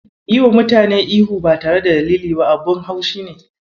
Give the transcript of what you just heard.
Yiwa mutane ihu ba tare da dalili ba abun ban haushi ne.